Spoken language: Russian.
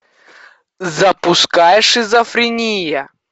запускай шизофрения